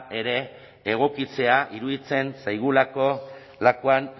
ere egokitzea iruditzen zaigulako lakuan